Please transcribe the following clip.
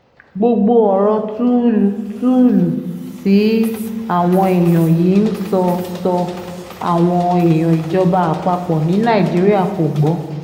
gbogbo ọ̀rọ̀ tuulu tuulu tí àwọn èèyàn yìí ń sọ sọ àwọn èèyàn ìjọba àpapọ̀ ní nàìjíríà kò gbọ́